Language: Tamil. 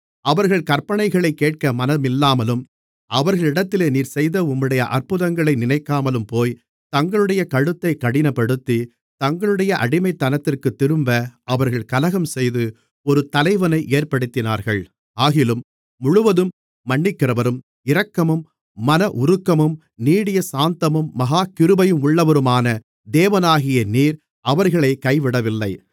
அவர்கள் கற்பனைகளைக் கேட்க மனமில்லாமலும் அவர்களிடத்திலே நீர் செய்த உம்முடைய அற்புதங்களை நினைக்காமலும் போய் தங்களுடைய கழுத்தைக் கடினப்படுத்தி தங்களுடைய அடிமைத்தனத்திற்குத் திரும்ப அவர்கள் கலகம்செய்து ஒரு தலைவனை ஏற்படுத்தினார்கள் ஆகிலும் முழுவதும் மன்னிக்கிறவரும் இரக்கமும் மனஉருக்கமும் நீடிய சாந்தமும் மகா கிருபையுமுள்ளவருமான தேவனாகிய நீர் அவர்களைக் கைவிடவில்லை